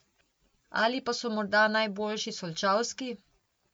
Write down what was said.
Ali pa so morda najboljši solčavski?